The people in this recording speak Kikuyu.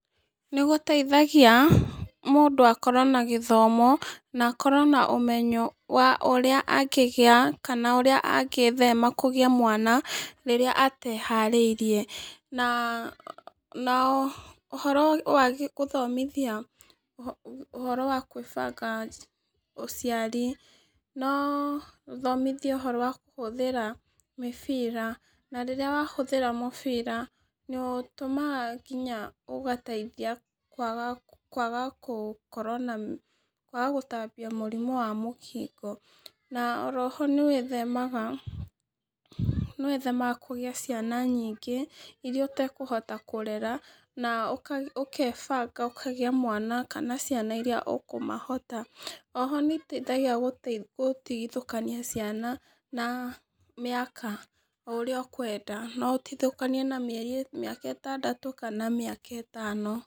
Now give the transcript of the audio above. Nĩgũteithagia, mũndũ akorwo na gĩthomo, na akorwo na ũmenyo wa ũrĩa angĩgĩa, kana ũrĩa angĩthema kũgĩa mwana rĩrĩa ateharĩirie, na, na, ũhoro wagĩ gũthomithia, ũhoro wa kwĩbanga ũciari, no ũthomithio ũhoro wa kũhũthĩra mĩbira, na rĩrĩa wahũthĩra mũbira nĩũtũmaga nginya ũgateithia kwaga, kwaga kũ kũkorwo na kwaga kũtambia mũrimũ wa mũkingo, na oro ho nĩwĩthemaga, wĩthemaga kũgĩa ciana nyingĩ iria ũtekũhota kũrera, na ũko ũkebanga ũkagĩa mwana kana ciana iria ũkũmahota, oho nĩũteithagia gũtigithũkania ciana na mĩaka o ũrĩa ũkwenda, noũtigithũkanie na mĩeri mĩaka ĩtandatũ kana mĩaka ĩtano.